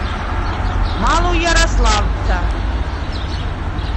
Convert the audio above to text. малоярославца